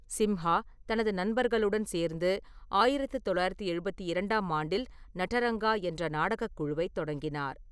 சிம்ஹா, தனது நண்பர்களுடன் சேர்ந்து ஆயிரத்து தொள்ளாயிரத்தி எழுபத்தி இரண்டாம் ஆண்டில் "நடரங்கா" என்ற நாடகக் குழுவைத் தொடங்கினார்.